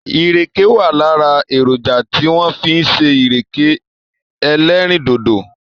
Ìrèkè wà lára èrònjà tí wọ́n fi ń ṣe ìrèké ẹlẹ́rìndòdò.